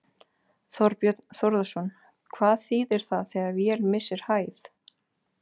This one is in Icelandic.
Þorbjörn Þórðarson: Hvað þýðir það þegar vél missir hæð?